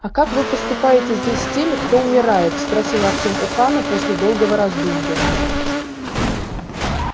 а как вы поступаете здесь с теми кто умирает спросил артём у хана после долгого раздумья